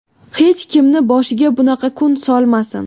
Hech kimni boshiga bunaqa kun solmasin.